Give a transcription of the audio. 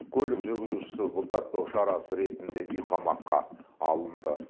көлік жүргізушісі бұлтартпау шарасы ретінде үйқамаққа алынды